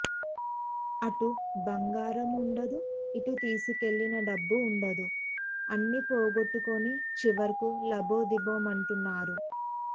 అటు బంగారమూ ఉండదు ఇటు తీసుకెళ్లిన డబ్బూ ఉండదు అన్ని పోగొట్టుకొని చివరకు లబోదిబోమంటున్నారు